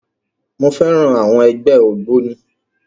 Mo féràn àwọn ẹgbẹ́ ògbóni.